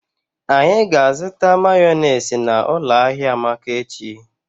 Anyi ga-azụta mayọnesị n'ụlọ ahia Amaka echi.